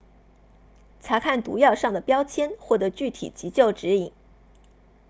查看毒药上的标签获得具体急救指引